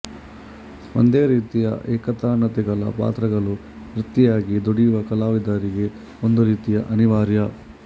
ಒಂದೇ ರೀತಿಯ ಏಕತಾನತೆಗಳ ಪಾತ್ರಗಳು ವೃತ್ತಿಯಾಗಿ ದುಡಿಯುವ ಕಲಾವಿದರಿಗೆ ಒಂದು ರೀತಿಯ ಅನಿವಾರ್ಯ